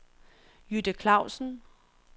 Jytte Clausen